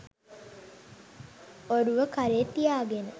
ඔරුව කරේ තියාගෙන